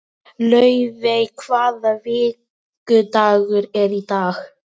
Laufey, hvaða vikudagur er í dag?